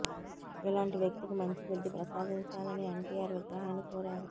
ఇలాంటి వ్యక్తికి మంచి బుద్ధి ప్రసాదించాలని ఎన్టీఆర్ విగ్రహాన్ని కోరారు